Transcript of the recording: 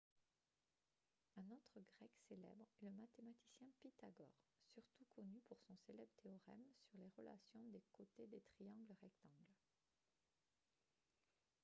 un autre grec célèbre est le mathématicien pythagore surtout connu pour son célèbre théorème sur les relations des côtés des triangles rectangles